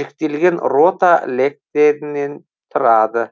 жіктелген рота лектерінен тұрады